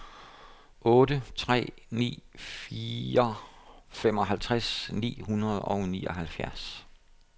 otte tre ni fire femoghalvtreds ni hundrede og nioghalvfjerds